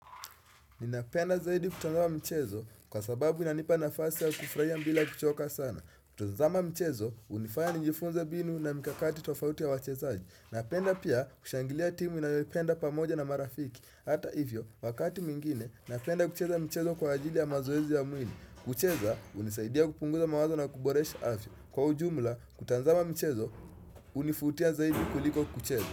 Ninapenda zaidi kutazama mchezo kwa sababu inanipa nafasi ya kufraia mbila kuchoka sana. Kutazama mchezo, unifanya njifunze binu na mikakati tofauti ya wachezaji. Napenda pia kushangilia timu ninayopenda pamoja na marafiki. Hata hivyo, wakati mwingine, napenda kucheza mchezo kwa ajili ya mazoezi ya mwini. Kucheza, unisaidia kupunguza mawazo na kuboresha afya. Kwa ujumla, kutazama mchezo, unifutia zaidi kuliko kucheza.